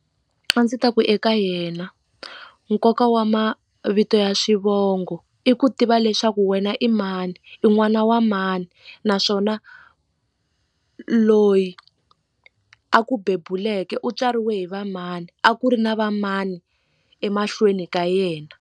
A ndzi ta ku eka yena nkoka wa mavito ya xivongo i ku tiva leswaku wena i mani i n'wana wa mani naswona loyi a ku bebuleka u tswariwe hi va mani a ku ri na va mani emahlweni ka yena.